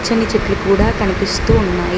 కొన్ని చెట్లు కూడా కనిపిస్తూ ఉన్నాయి.